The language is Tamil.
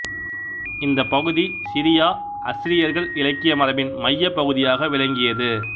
இந்த பகுதி சிரியாஅஸ்சிரியர்கள் இலக்கிய மரபின் மையப் பகுதியாக விளங்கியது